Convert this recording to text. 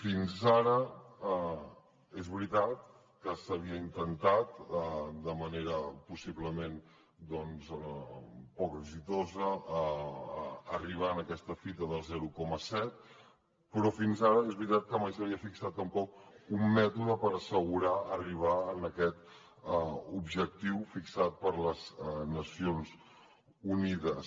fins ara és veritat que s’havia intentat de manera possiblement poc exitosa arribar a aquesta fita del zero coma set però fins ara és veritat que mai s’havia fixat tampoc un mètode per assegurar arribar a aquest objectiu fixat per les nacions unides